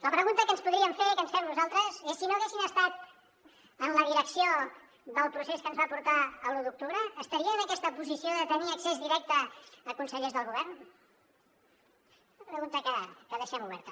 la pregunta que ens podríem fer i que ens fem nosaltres és si no haguessin estat en la direcció del procés que ens va portar a l’u d’octubre estarien en aquesta posició de tenir accés directe a consellers del govern una pregunta que deixem oberta